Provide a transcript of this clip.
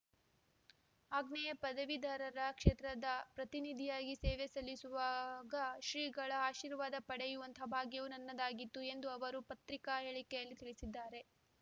ಆಗ್ನೇಯ ಪದವೀಧರರ ಕ್ಷೇತ್ರದ ಪ್ರತಿನಿಧಿಯಾಗಿ ಸೇವೆ ಸಲ್ಲಿಸುವಾಗ ಶ್ರೀಗಳ ಆಶೀರ್ವಾದ ಪಡೆಯುವಂತಹ ಭಾಗ್ಯವು ನನ್ನದಾಗಿತ್ತು ಎಂದು ಅವರು ಪತ್ರಿಕಾ ಹೇಳಿಕೆಯಲ್ಲಿ ತಿಳಿಸಿದ್ದಾರೆ